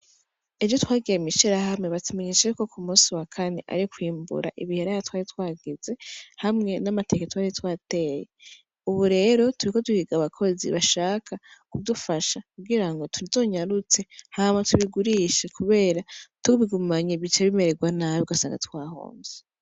Ejo twagiye mwishirahamwe batumenyesha yuko kumunsi w'akane ari kwimbura ibiraya twari twagize hamwe n'amateke twari twateye ubu rero turiko duhiga abakozi bashaka kudufasha kugirango tuzonyarutse hama tubigurishe kubera tubigumanye bica bimererwa nabi ugasanga twahomvye